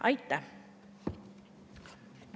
Aitäh!